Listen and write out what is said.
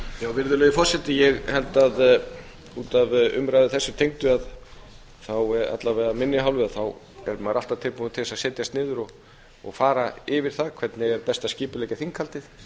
virðulegi forseti ég held að út af umræðu þessu tengdu þá alla vega af minni hálfu er maður alltaf tilbúinn til þess að setjast niður og fara yfir það hvernig er best að skipuleggja þinghaldið